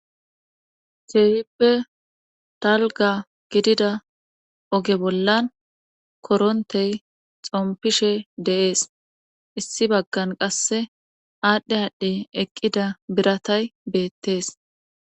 ceehippe talga gidida oge bollan korontey xompishe deees issi baggan qasse aadhdhe aadhdhey eqqida biratay beettees